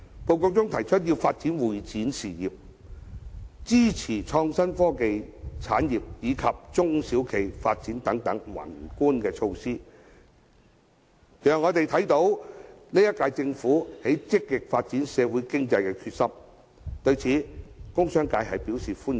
報告提出要發展會展業、支持創新及科技產業及中小企發展等宏觀措施，讓我們看到這屆政府積極發展社會經濟的決心，對此工商界表示歡迎。